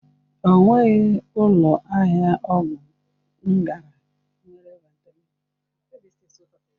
Ọ nweghị ụlọ ahịa ọgwụ m gara nwere Ventolin.